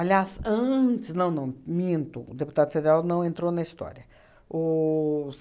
Aliás, antes, não, não, minto, o deputado federal não entrou na história. Os